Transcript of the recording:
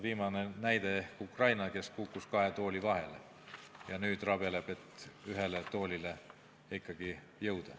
Viimane näide on Ukraina, kes kukkus kahe tooli vahele ja nüüd rabeleb, et ikkagi ühele toolile jõuda.